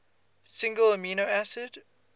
single amino acid